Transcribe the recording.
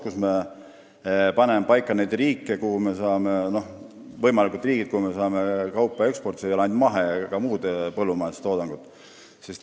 Me paneme seal paika need võimalikud riigid, kuhu me saame kaupa eksportida – mitte ainult mahetoodangut, ka muud põllumajandustoodangut.